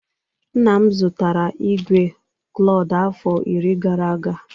Nna m zụtara igwe klord afọ iri gara aga